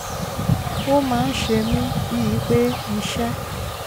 ó máa ń ṣe mí bíi pé iṣẹ́